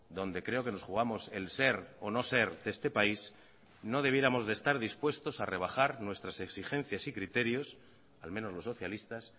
donde creo que nos jugamos el ser o no ser de este país no debiéramos de estar dispuestos a rebajar nuestras exigencias y criterios al menos los socialistas